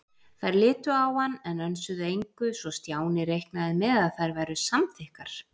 Þær litu á hann, en önsuðu engu, svo Stjáni reiknaði með að þær væru samþykkar.